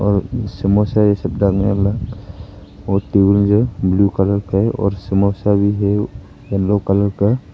और समोसे ये सब है ब्लू कलर का और समोसा भी है येलो कलर का।